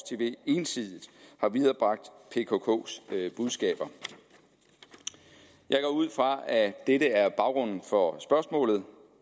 tv ensidigt har viderebragt pkks budskaber jeg går ud fra at dette er baggrunden for spørgsmålet